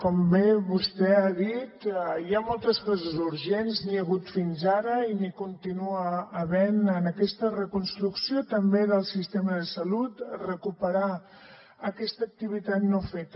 com bé vostè ha dit hi ha moltes coses urgents n’hi ha hagut fins ara i n’hi continua havent en aquesta reconstrucció també del sistema de salut recuperar aquesta activitat no feta